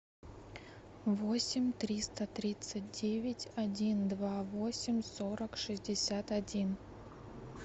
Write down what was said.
восемь триста тридцать девять один два восемь сорок шестьдесят один